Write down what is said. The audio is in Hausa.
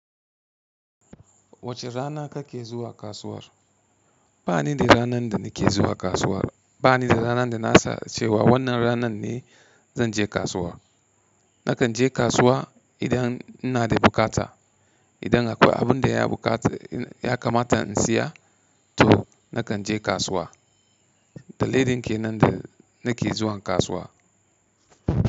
Wace rana kake zuwa kasuwar? Ba ni da ranar da ni ke zuwa kasuwa. Ba ni da ranar da na sace wa wannan ranar ne zan je kasuwa. Na kan je kasuwa idan ina da buƙata. Idan akwai abunda ya buƙaci ya kamata in siya to na kan je kasuwa. Dalilin kenan da ni ke zuwa kasuwa.